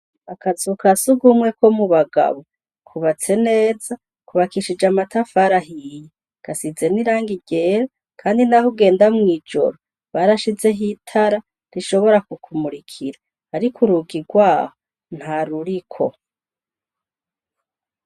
Akazu kasugumwe ko mubagabo kubatse neza kubakishije n'amatafari ahiye gasize n'irangi ryera kandi naho ugenda mw'ijoro barshizeho itara rishobora kuku murikira ariko urugi rwaho ntaruriko .